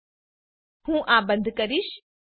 હું આ બંધ કરીશ